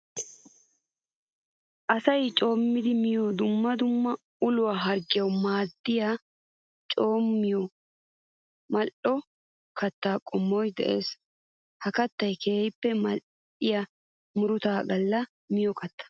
Asay coomiddi miyo dumma dumma uluwa harggiyawu maadiya coomiyo mali'o katta qommoy de'ees. Ha katta keehippe mali'iya murutta gala miyo katta.